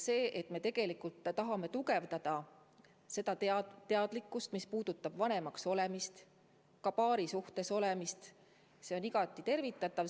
See, et me tegelikult tahame süvendada seda teadlikkust, mis puudutab vanemaks olemist, samuti paarisuhtes olemist, on igati tervitatav.